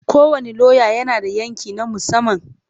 Kowane lauya yana da yanki na musamman.